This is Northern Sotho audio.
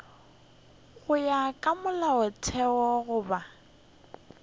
go ya ka molaotheo goba